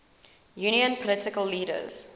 union political leaders